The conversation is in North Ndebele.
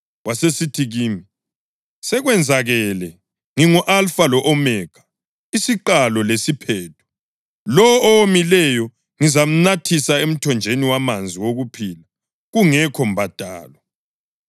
Wasesithi kimi, “Sekwenzakele. Ngingu-Alfa lo-Omega, isiQalo lesiPhetho. Lowo owomileyo ngizamnathisa emthonjeni wamanzi okuphila kungekho mbadalo.